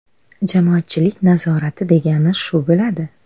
Jamoatchilik nazorati degani shu bo‘ladi.